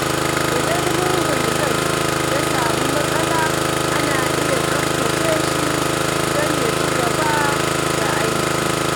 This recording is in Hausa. Idan murhun gas ya samu matsala, ana iya tsaftace shi don ya ci gaba da aiki.